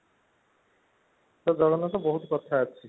ଜଗନ୍ନାଥ ବହୁତ କଥା ଅଛି